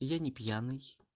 я не пьяный